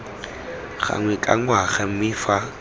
gangwe ka ngwaga mme fa